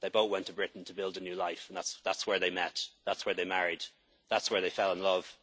from India. They both went to Britain to build a new life and that's where they met, that's where they married, and that's where they